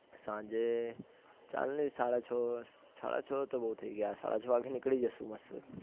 સાંજે ચાલની સાડા છ સાડા છ તો બો થઇ ગયા સાડાછ એ નીકળી જઈશું